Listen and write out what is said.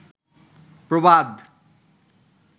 প্রবাদ